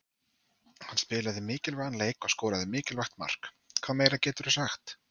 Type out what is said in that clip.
Hann spilaði mikilvægan leik og skoraði mikilvægt mark, hvað meira geturðu sagt?